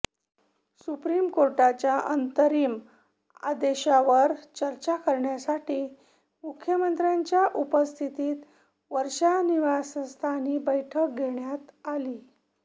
supreme कोर्टाच्या अंतरिम आदेशावर चर्चा करण्यासाठी मुख्यमंत्र्यांच्या उपस्थितीत वर्षा निवास्थानी बैठक घेण्यात आली